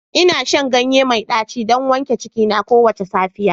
Ina shan ganye mai daci don wanke cikina kowace safiya